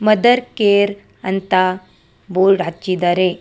Mother care ಅಂತ board ಹಾಕಿದ್ದಾರೆ.